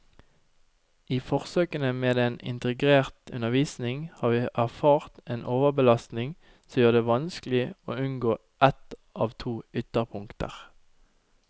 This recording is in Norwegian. I forsøkene med en integrert undervisning har vi erfart en overbelastning som gjør det vanskelig å unngå ett av to ytterpunkter.